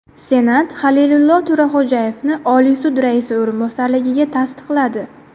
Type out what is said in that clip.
Senat Halilillo To‘raxo‘jayevni Oliy sud raisi o‘rinbosarligiga tasdiqladi.